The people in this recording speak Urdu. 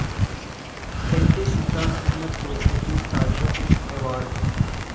ایم پی سلطان احمد کو اردو تاج رتن ایوارڈ